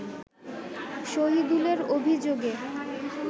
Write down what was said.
শহীদুলের অভিযোগে